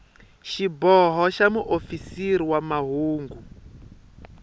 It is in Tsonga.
xiboho xa muofisiri wa mahungu